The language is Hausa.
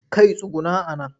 Kai tsuguna a nan!